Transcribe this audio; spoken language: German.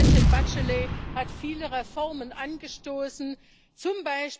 Präsidentin Bachelet hat viele Reformen angestoßen, z.